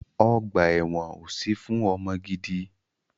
Ọgbà ẹ̀wọ́n ò sí fún ọmọ gidi.